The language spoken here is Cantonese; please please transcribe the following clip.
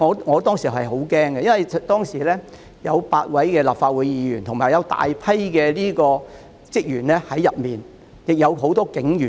我當時十分害怕，因為大樓內有8位立法會議員和大量職員，也有很多警員。